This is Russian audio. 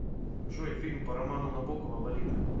джой фильм по роману набокова лолита